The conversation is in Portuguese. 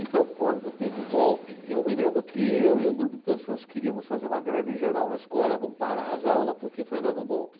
Então, quando teve o golpe, eu me lembro que eu e um grupo de pessoas queríamos fazer uma greve geral na escola, vamos parar as aulas porque foi dado um golpe.